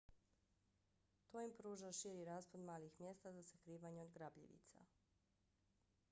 to im pruža širi raspon malih mjesta za sakrivanje od grabljivica